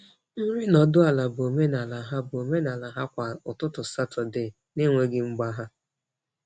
Nri nọdụ ala bụ omenala ha bụ omenala ha kwa ụtụtụ Satọde na-enweghị mgbagha.